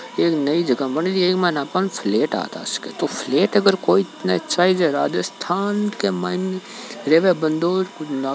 एक नई जगह बन री है एक माइन आपन फ्लैट हाथ आ सके तो फ्लैट अगर कोई चाहिए तो राजस्थान के माइन रह को बन्दो --